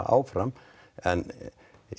áfram en